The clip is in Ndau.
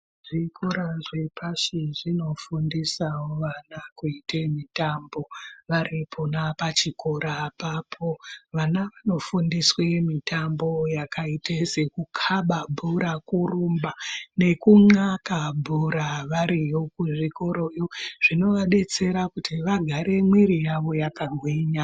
Zvikora zvepashi zvinofundisao vana kuite mitambo varipona pachikora apapo vana vanofundiswe mitambo yakaite sekukaba bhora kurumba nekunxaka bhora variyo kuzvikoyo zvinovadetsera kuti vagare mwiri yavo yakagwinya.